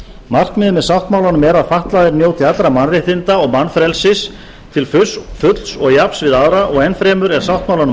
markmiðið með sáttmálanum er að fatlaðir njóti allra mannréttinda og mannfrelsis til fulls og jafns við aðra og enn fremur er sáttmálanum